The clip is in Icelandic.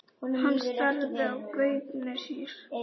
Hann starði í gaupnir sér.